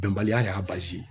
Bɛnbaliya de y'a